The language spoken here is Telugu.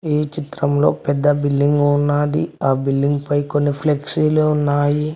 ఏ చిత్రంలో పెద్ద బిల్డింగ్ ఉన్నది ఆ బిల్డింగ్ పై కొన్ని ఫ్లెక్సీలు ఉన్నాయి.